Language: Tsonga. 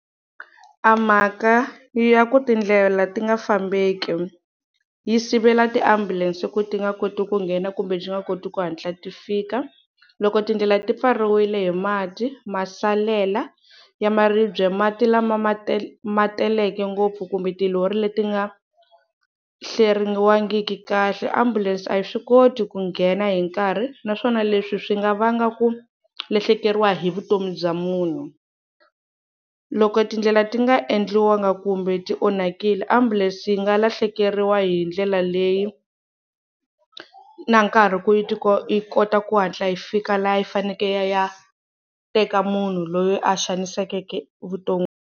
A mhaka ya ku tindlela ti nga fambeki, yi sivela tiambulense ku ti nga koti ku nghena kumbe ti nga koti ku hatla ti fika. Loko tindlela ti pfariwile hi mati, masalela ya maribye, mati lama ma ma teleke ngopfu kumbe tilori leti nga hleriwangiki kahle, ambulense a yi swi koti ku nghena hi nkarhi, naswona leswi swi nga vanga ku lahlekeriwa hi vutomi bya munhu. Loko tindlela ti nga endliwanga kumbe tionhakile ambulense yi nga lahlekeriwa hi ndlela leyi, na nkarhi ku yi yi kota ku hatla yi fika laha yi fanekele yi ya teka munhu loyi a xanisekeke vuton'wini.